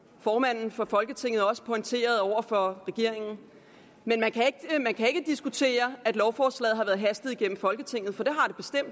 formanden for folketinget også pointeret over for regeringen men man kan ikke diskutere at lovforslaget har været hastet igennem folketinget for det